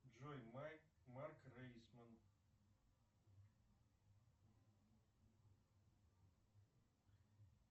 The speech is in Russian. джой майк марк рейсман